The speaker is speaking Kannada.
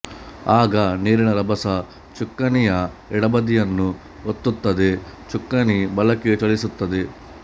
ಆಗ ನೀರಿನ ರಭಸ ಚುಕ್ಕಾಣಿಯ ಎಡಬದಿಯನ್ನು ಒತ್ತುತ್ತದೆ ಚುಕ್ಕಾಣಿ ಬಲಕ್ಕೆ ಚಲಿಸುತ್ತದೆ